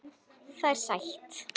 Það er sætt.